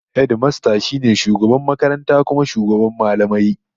Hedimasta shi ne shugaban makaranta kuma shugaban mallamai